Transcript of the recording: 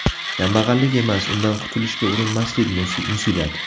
Kambag‘allik emas, undan qutilishga urinmaslik musibat.